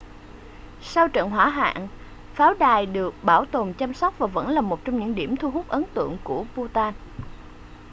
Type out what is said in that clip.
sau trận hỏa hoạn pháo đài được bảo tồn chăm sóc và vẫn là một trong những điểm thu hút ấn tượng nhất của bhutan